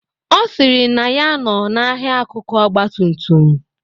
Ọ sịrị na ya nọ n'ahia akụkụ ọgbatumtum.